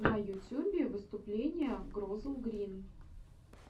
на ютюбе выступление глозелл грин